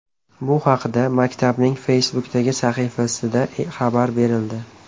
Bu haqda maktabning Facebook’dagi sahifasida xabar berildi .